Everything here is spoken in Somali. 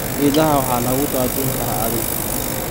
Idaha waxa lagu daajin karaa adhi.